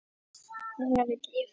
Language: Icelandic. Núna vil ég fleiri.